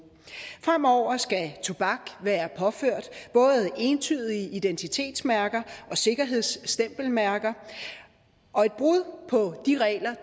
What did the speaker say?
fremover skal tobak være påført både entydige identitetsmærker og sikkerhedsstempelmærker og et brud på de regler